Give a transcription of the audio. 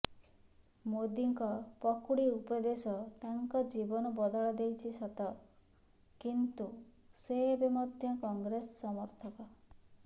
ମୋଦିଙ୍କ ପକୁଡି ଉପଦେଶ ତାଙ୍କ ଜୀବନ ବଦଳାଇ ଦେଇଛି ସତ କିନ୍ତୁ ସେ ଏବେ ମଧ୍ୟ କଂଗ୍ରେସ ସମର୍ଥକ